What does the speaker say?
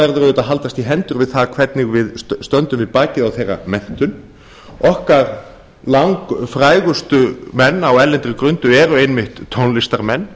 verður auðvitað að haldast í hendur við það hvernig við stöndum við bakið á þeirra menntun okkar langfrægustu menn á erlendri grundu eru einmitt tónlistarmenn